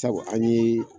Sabu an ye